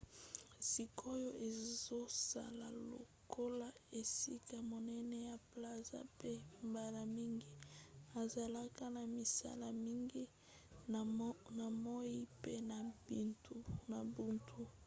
sikoyo ezosala lokola esika monene ya plaza mpe mbala mingi ezalaka na misala mingi na moi pe na butu